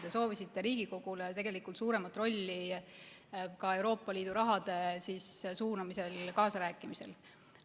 Te soovisite Riigikogule tegelikult suuremat rolli ka Euroopa Liidu raha suunamisel ja kaasarääkimisel.